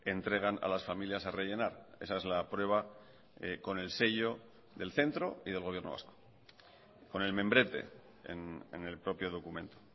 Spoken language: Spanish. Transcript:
entregan a las familias a rellenar esa es la prueba con el sello del centro y del gobierno vasco con el membrete en el propio documento